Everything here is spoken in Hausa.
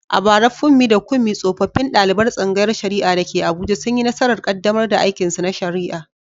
A bara, Funmi da Kunmi tsofaffin daliban tsangayar shari’a da ke Abuja, sun yi nasarar kaddamar da aikinsu na shari’a.